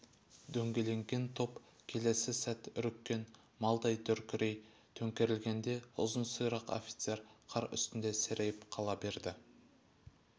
дөңгеленген топ келесі сәт үріккен малдай дүркірей төңкерілгенде ұзын сирақ офицер қар үстінде серейіп қала берді